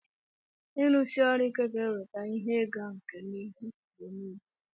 ịrụsi ọrụ ike ga-eweta ihe ịga nke n'ihu mgbe niile